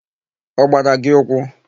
Ọ gbara gị ụkwụ?